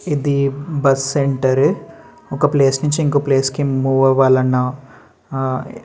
ఇది bus centre . ఒక place నించి ఇంకో ప్లేస్ కి మూవ్ అవ్వాలన్న ఆ --